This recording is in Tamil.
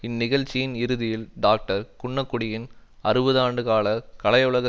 இந்நிகழ்ச்சியின் இறுதியில் டாக்டர் குன்னக்குடியின் அறுபது ஆண்டு கால கலையுலக